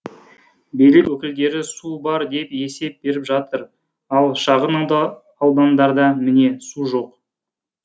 билік өкілдері су бар деп есеп беріп жатыр ал шағын аудандарда міне су жоқ